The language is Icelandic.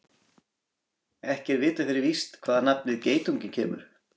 Ekki er vitað fyrir víst hvaðan nafnið geitungur kemur.